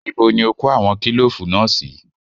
Níbo ni o kó àwọn kílòfù náà sí?